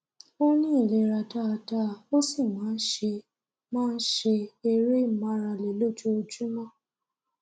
ó ní ìlera dáadáa ó sì máa ń ṣe máa ń ṣe eré ìmárale lójuoojúmọ